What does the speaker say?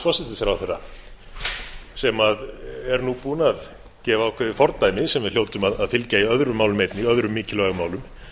forsætisráðherra sem er nú búin að gefa ákveðið fordæmi sem við hljótum að fylgja í öðrum málum einnig öðrum mikilvægum málum